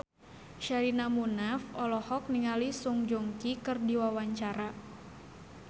Sherina Munaf olohok ningali Song Joong Ki keur diwawancara